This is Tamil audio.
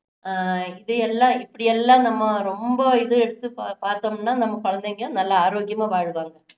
அஹ் இதை எல்லாம் இப்படி எல்லாம் நாம ரொம்ப இது எடுத்து பார்~ பார்த்தோம்னா நம்ம குழந்தைங்க நல்ல ஆரோக்கியமா வாழ்வாங்க